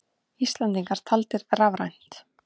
Íslendingar taldir rafrænt